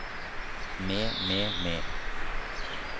med med med